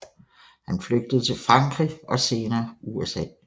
Han flygtede til Frankrig og senere USA